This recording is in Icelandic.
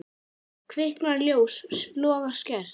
Kviknar ljós, logar skært.